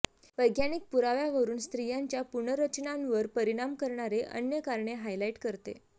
वैज्ञानिक पुराव्यावरून स्त्रियांच्या पुनर्रचनांवर परिणाम करणारे अन्य कारणे हायलाइट करते